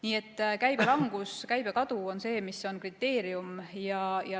Nii et käibelangus, käibekadu on kriteerium.